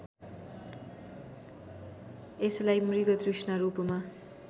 यसलाई मृगतृष्णा रूपमा